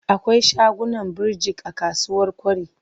Akwai shaguna birjik a kasuwar Kwari.